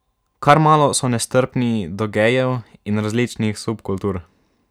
Kar malo so nestrpni do gejev in različnih subkultur.